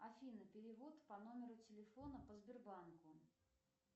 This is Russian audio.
афина перевод по номеру телефона по сбербанку